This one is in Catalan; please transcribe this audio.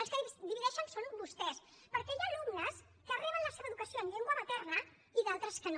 els que divideixen són vostès perquè hi ha alumnes que reben la seva educació en llengua materna i d’altres que no